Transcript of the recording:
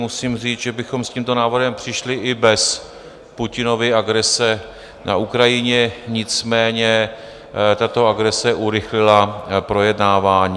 Musím říct, že bychom s tímto návrhem přišli i bez Putinovy agrese na Ukrajině, nicméně tato agrese urychlila projednávání.